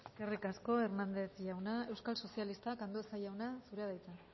eskerrik asko hernández jauna euskal sozialistak andueza jauna zurea da hitza